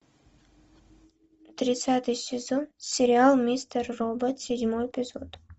тридцатый сезон сериал мистер робот седьмой эпизод